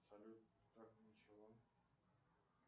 салют так ничего